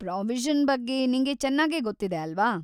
Provision ಬಗ್ಗೆ ನಿಂಗೆ ಚೆನ್ನಾಗೇ ಗೊತ್ತಿದೆ, ಅಲ್ವಾ?